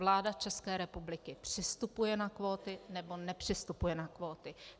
Vláda České republiky přistupuje na kvóty, nebo nepřistupuje na kvóty.